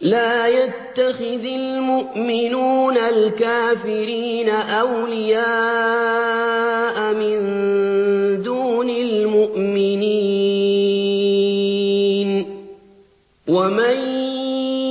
لَّا يَتَّخِذِ الْمُؤْمِنُونَ الْكَافِرِينَ أَوْلِيَاءَ مِن دُونِ الْمُؤْمِنِينَ ۖ وَمَن